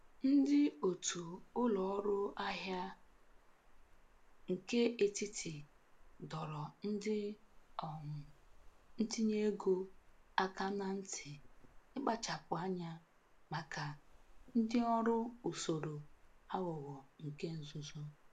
Ndị otu ụlọ ọrụ ahịa nke etiti doro ndị um ntinye ego aka na nti ikpachapụ anya maka ndị ọrụ usoro aghụghọ nke nzuzu.